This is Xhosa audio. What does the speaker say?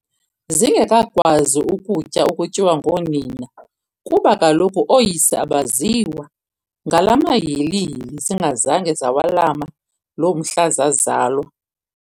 zingekakwazi ukutya okutyiwa ngoonina, kuba kaloku ooyise abaziwa, ngalaa mahilihili zingazanga zawalama loo mhla zazalwa.